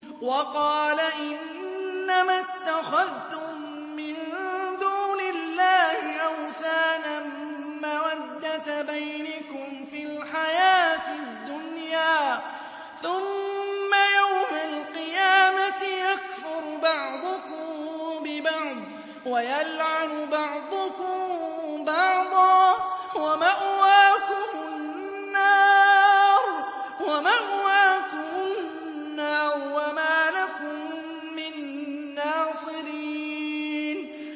وَقَالَ إِنَّمَا اتَّخَذْتُم مِّن دُونِ اللَّهِ أَوْثَانًا مَّوَدَّةَ بَيْنِكُمْ فِي الْحَيَاةِ الدُّنْيَا ۖ ثُمَّ يَوْمَ الْقِيَامَةِ يَكْفُرُ بَعْضُكُم بِبَعْضٍ وَيَلْعَنُ بَعْضُكُم بَعْضًا وَمَأْوَاكُمُ النَّارُ وَمَا لَكُم مِّن نَّاصِرِينَ